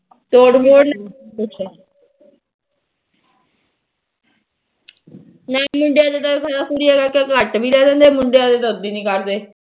ਮੁੰਡਿਆ ਦਾ ਕੁੜੀਆਂ ਦਾ ਘੱਟ ਵੀ ਲੈ ਲੈਂਦੇ ਮੁੰਡੀਆਂ ਦਾ ਤਾ ਉਦਾ ਨੀ ਕਰਦੇ